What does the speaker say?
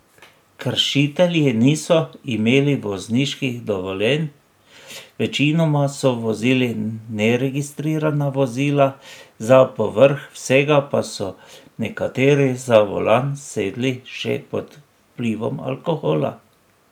Kršitelji niso imeli vozniških dovoljenj, večinoma so vozili neregistrirana vozila, za povrh vsega pa so nekateri za volan sedli še pod vplivom alkohola.